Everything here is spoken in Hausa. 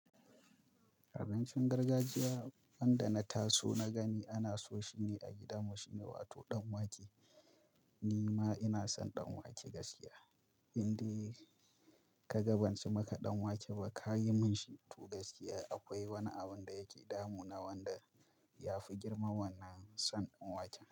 Abincin gargajiya wanda na taso na gani ana so shi ne a gidanmu shi ne, wato ɗan wake. Ni ma ina son ɗan wake gaskiya. Inde kaga banci maka ɗan wake ba ka yi min shi to gaskiya akwai wani abin da yake damu na wanda ya fi girman wannan son ɗan waken.